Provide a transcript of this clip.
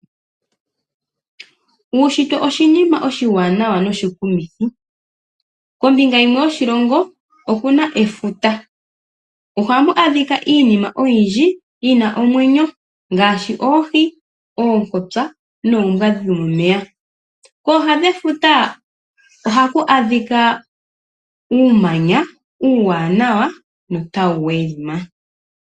Uunshitwe oshinima oshiwanawa noshikumithi, kombinga yimwe yoshilongo oku na efuta. Oha mu adhika iinima oyindji yi na omwenyo ngaashi: oohi, oonkosa noombwa dhomomeya. Kooha dhefuta oha ku adhika uumanya, uuwanawa no ta wu welima.